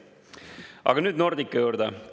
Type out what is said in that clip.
Aga Nordica juurde.